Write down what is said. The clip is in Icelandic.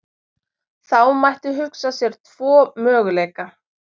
Þá mætti hugsa sér tvo möguleika.